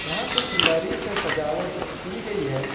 यहां कुछ लड़ी से सजावट की गई है।